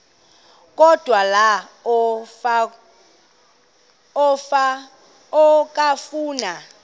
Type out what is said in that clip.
odwa la okafuna